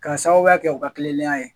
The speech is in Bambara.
Ka sababuya kɛ u ka kilelenya ye.